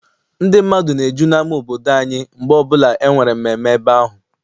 Ndị mmadụ na-eju n'ama obodo anyị mgbe ọbụla enwere mmemme ebe ahụ.